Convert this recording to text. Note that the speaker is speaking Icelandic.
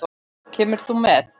Kemur þú með?